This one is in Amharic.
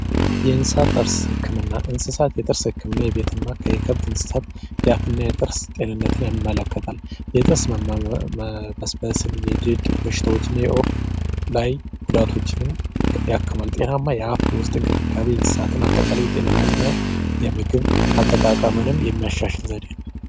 የእንስሳት ጥርስ ህክምና የእንስሳት ጥርስ ክምናን የከብት አፍና ጤንነት የሚመለከት ነው የጥርስ መበስበስን የድርቅ በሽታን ጤናማ የውስጥ እንክብካቤ እና አጠቃላይ ጤንነትን እና የምግብ አጠቃቀም የሚያሻሽል ዘዴ ነው።